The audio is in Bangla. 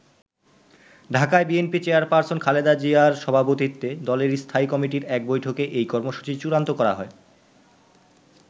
ঢাকায় বিএনপি চেয়ারপার্সন খালেদা জিয়ার সভাপতিত্বে দলের স্থায়ী কমিটির এক বৈঠকে এই কর্মসূচি চুড়ান্ত করা হয়।